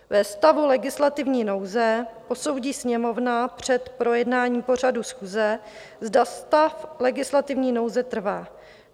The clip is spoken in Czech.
Ve stavu legislativní nouze posoudí Sněmovna před projednáním pořadu schůze, zda stav legislativní nouze trvá.